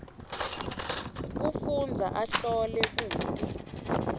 kufundza ahlole kute